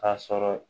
K'a sɔrɔ